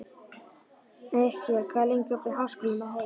Mikkel, hvað er lengi opið í Háskólanum á Hólum?